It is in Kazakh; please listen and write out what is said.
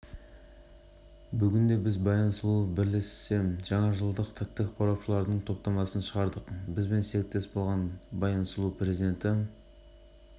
жүргізушісінің балаларды қаққанға дейінгі камерадан түсірілген бейнежазбасы жүргізушісіне сот бұл акция астана тұрғындарын өрт қауіпсіздігі ережелерін